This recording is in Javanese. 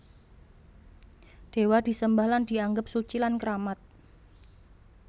Dewa disembah lan dianggep suci lan keramat